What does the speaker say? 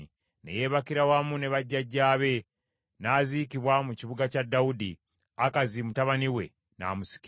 Ne yeebakira wamu ne bajjajjaabe, n’aziikibwa mu Kibuga kya Dawudi; Akazi mutabani we n’amusikira.